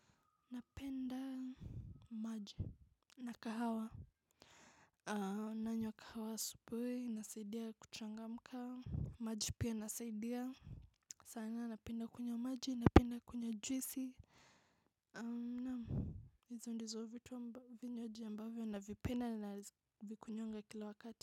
Napenda maji. Na kahawa nanywa kahawa asubuhi inasaidia kuchangamka. Maji pia inasaidia sana napenda kunywa maji napenda kunywa juisi. Naam. Hizo ndizo vitu vinywaji ambavyo navipenda na vikunywanga kila wakati.